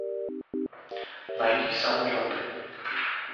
найди самолеты